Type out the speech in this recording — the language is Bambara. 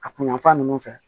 A kun yanfan ninnu fɛ